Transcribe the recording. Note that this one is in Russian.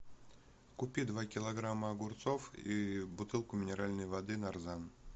купи два килограмма огурцов и бутылку минеральной воды нарзан